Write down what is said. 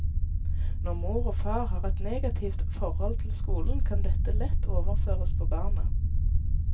Når mor og far har et negativt forhold til skolen, kan dette lett overføres på barna.